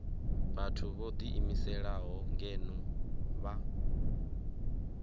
vhathu vho ḓiimiselaho ngeno vha